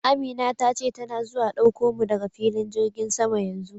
Amina ta ce tana zuwa dauko mu daga filin jirgin sama yanzu.